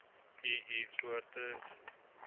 u u voertuig